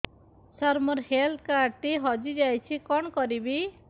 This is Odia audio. ସାର ମୋର ହେଲ୍ଥ କାର୍ଡ ଟି ହଜି ଯାଇଛି କଣ କରିବି